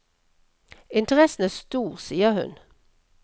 Interessen er stor, sier hun.